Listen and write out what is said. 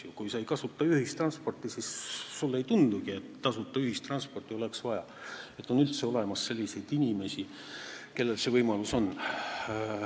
Kui sa ei kasuta ühistransporti, siis sulle ei tule pähe mõtet, et tasuta ühistransporti oleks vaja ja et on üldse olemas selliseid inimesi, kellel see võimalus on.